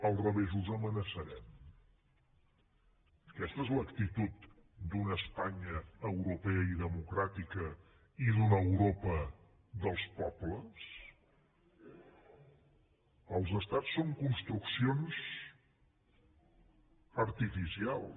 al revés us amenaçarem aquesta és l’actitud d’una espanya europea i democràtica i d’una europa dels pobles els estats són construccions artificials